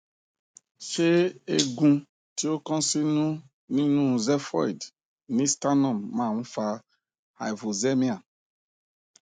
ṣé eegun ti o kan sinu ninú xephoid ni sternum ma n fa hypoxemia